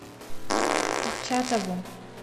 курчатову